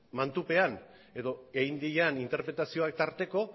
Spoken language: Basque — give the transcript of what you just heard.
mantupean edo egin diren interpretazioak tarteko